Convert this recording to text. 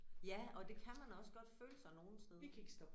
Ja og det kan man også godt føle sig nogen steder